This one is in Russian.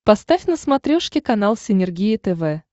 поставь на смотрешке канал синергия тв